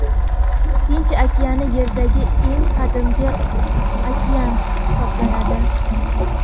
Tinch okeani Yerdagi eng qadimgi okean hisoblanadi.